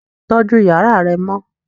Tọjù yàrá rẹ mọ!